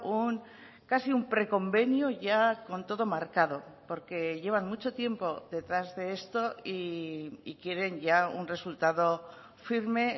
un casi un preconvenio ya con todo marcado porque llevan mucho tiempo detrás de esto y quieren ya un resultado firme